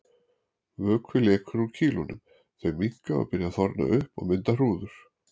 Vökvi lekur úr kýlunum, þau minnka og byrja að þorna upp og mynda hrúður.